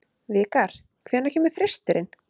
Vikar, hvenær kemur þristurinn?